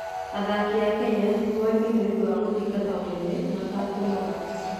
Athaki a Kenya nĩ moĩkaine nĩ ũndũ wa gũthingata ũnene matekũnoga.